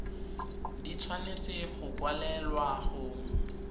di tshwanetse go kwalelwa go